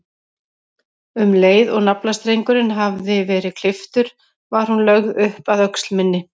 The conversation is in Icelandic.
Um leið og naflastrengurinn hafði verið klipptur var hún lögð upp að öxl minni.